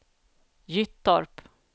Gyttorp